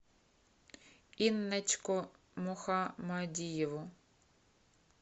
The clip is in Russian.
инночку мухамадиеву